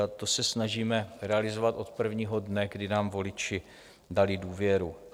A to se snažíme realizovat od prvního dne, kdy nám voliči dali důvěru.